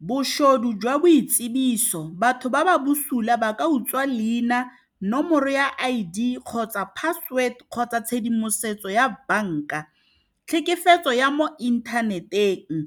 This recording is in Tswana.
Bošodu jwa boitsibiso, batho ba ba bosula ba ka utswa leina, nomoro ya I_D kgotsa password kgotsa tshedimosetso ya banka. Tlhekefetso ya mo inthaneteng,